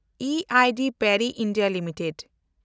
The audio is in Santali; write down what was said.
E I D Parry (India) limited